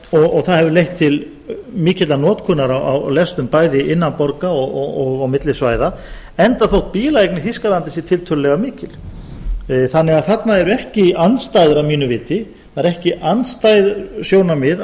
og það hefur leitt til mikillar notkunar á lestum bæði innan borga og á milli svæða enda þótt bílaeign í þýskalandi sé tiltölulega mikil þannig að þarna eru ekki andstæður að mínu viti það eru ekki andstæð sjónarmið